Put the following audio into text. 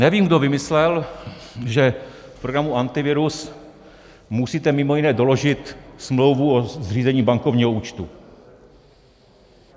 Nevím, kdo vymyslel, že v programu Antivirus musíte mimo jiné doložit smlouvu o zřízení bankovního účtu.